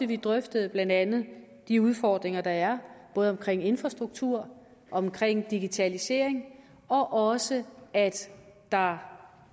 vi drøftede blandt andet de udfordringer der er både omkring infrastruktur omkring digitalisering og også at der